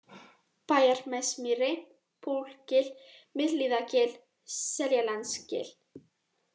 Bæjarnesmýri, Bólgil, Miðhlíðagil, Seljalandsgil